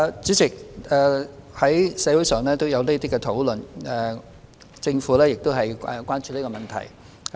主席，社會上有相關討論，政府亦很關注這問題。